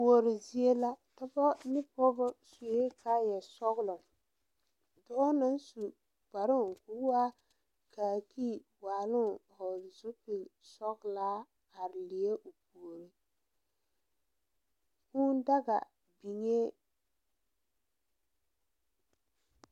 Kuori zie la dɔbɔ ne pɔɔbɔ suee kaayɛ sɔglɔ dɔɔ naŋ su kparoo koo waa kaakii waaloŋ vɔgle zupilsɔglaa are leɛ o puori kūū daga biŋee.